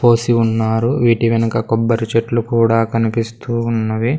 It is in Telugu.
పోసి ఉన్నారు వీటి వెనుక కొబ్బరి చెట్లు కూడా కనిపిస్తూ ఉన్నవి.